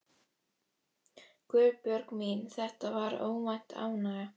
Guðbjörg mín, þetta var óvænt ánægja.